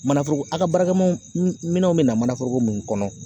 Manaforoko a ka baarakɛminɛnw minɛnw bɛ na manaforoko mun kɔnɔ